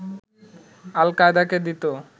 আল-কায়েদাকে দিত